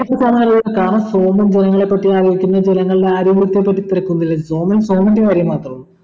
ഇപ്പൊ പറഞ്ഞാല് കാരണം സോമൻ ജനങ്ങളെ പറ്റി ആലോചിക്കുന്നത് ജനങ്ങള്ടെ ആരോഗ്യത്തെ പറ്റി സോമൻ സോമൻ്റെ കാര്യം മാത്രം